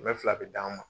Kɛmɛ fila bɛ d'an ma